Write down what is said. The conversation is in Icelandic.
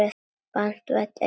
Banvænt eitur.